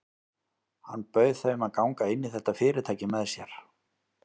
Hann bauð þeim að ganga inn í þetta fyrirtæki með sér.